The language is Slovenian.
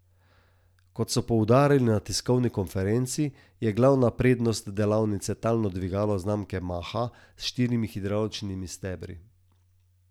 Kot so poudarili na tiskovni konferenci, je glavna prednost delavnice talno dvigalo znamke Maha s štirimi hidravličnimi stebri.